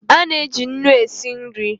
Ana-eji nnu e si nri